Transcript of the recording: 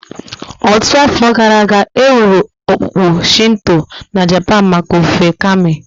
Ọtụtụ afọ gara aga, e wuru okpukpe Shinto na Japan maka ofufe Kami